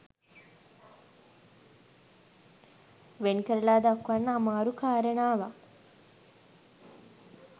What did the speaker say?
වෙන් කරලා දක්වන්න අමාරු කාරණාවක්